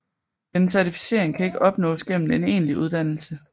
Denne certificering kan ikke opnås gennem en egentlig uddannelse